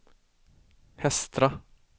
Hestra